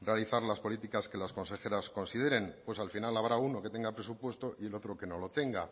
realizar las políticas que las consejeras consideren pues al final habrá uno que tenga presupuesto y el otro que no lo tenga